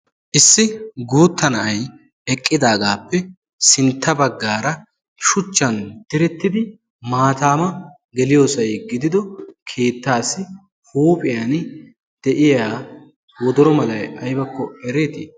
issi guutta na7ai eqqidaagaappe sintta baggaara shuchchan direttidi maataama geliyoosai gidido keettaassi huuphiyan de7iya wodoro malai aibakko ereetii?